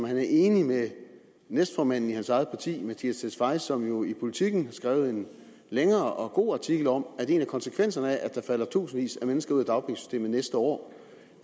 han er enig med næstformanden i hans eget parti mattias tesfaye som jo i politiken har skrevet en længere og god artikel om at en af konsekvenserne af at der falder tusindvis af mennesker ud af dagpengesystemet næste år